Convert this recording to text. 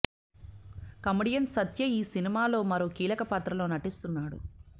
comedian Satya ఈ సినిమాలో మరో కీలక పాత్ర లో నటిస్తున్నాడు